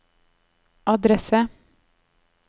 adresse